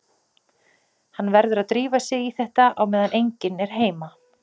Hann verður að drífa sig í þetta á meðan enginn er heima.